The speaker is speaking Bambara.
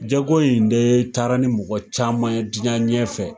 Jago in de taara ni mɔgɔ caman ye diɲɛ ɲɛfɛ